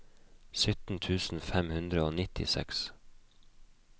sytten tusen fem hundre og nittiseks